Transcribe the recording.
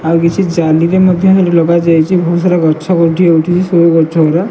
ଆଉ କିଛି ଜାଲି ବି ମଧ୍ୟ ଲଗାଯାଇଛି ବହୁତ ସାରା ଗଛ ଉଉଠିଛି ସେଓ ଗଛ ଗୁଡା।